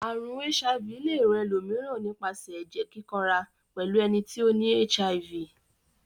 Àrùn HIV le rán elòmíràn nípasẹ̀ ẹ́jẹ́ kíkanra pẹ́lu eni ti o ni HIV